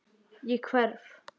Ég hverf.